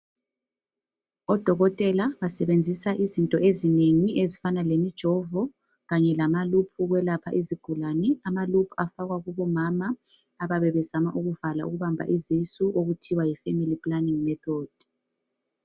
Odokotela basebenzisa izinto ezinengi ezifana lemijovo kanye lama loop ukwelapha izigulane , amaloop afakwa kubomama abayabe bezama ukubala ukubamba izisu okuthiwa Yi family planning method